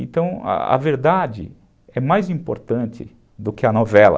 Então, a verdade é mais importante do que a novela.